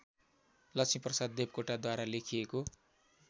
लक्ष्मीप्रसाद देवकोटाद्वारा लेखिएको